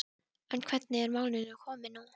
En hvernig er málinu komið nú?